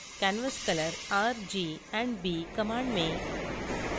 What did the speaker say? canvascolor $r $g और $b command में